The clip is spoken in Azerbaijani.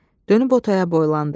Dönüb o taya boylandı.